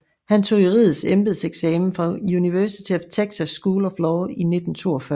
Han tog juridisk embedseksamen fra University of Texas School of Law i 1942